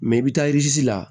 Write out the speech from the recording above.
i bɛ taa la